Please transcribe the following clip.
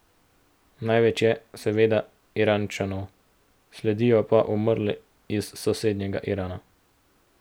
Največ je, seveda, Iračanov, sledijo pa umrli iz sosednjega Irana.